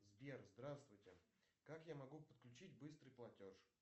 сбер здравствуйте как я могу подключить быстрый платеж